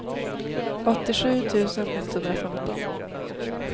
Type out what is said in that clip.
åttiosju tusen etthundrafemton